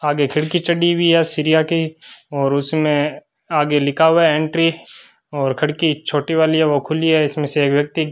आगे खिड़की चढ़ी हुई है सीरिया के और उसमें आगे लिखा हुआ है एंट्री और खिड़की छोटी वाली है वो खुली है इसमें से एक व्यक्ति --